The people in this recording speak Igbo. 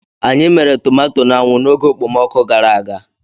Anyị mere tomato n'anwụ n'oge okpomọkụ gara aga.